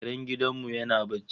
Karen gidan mu yana barci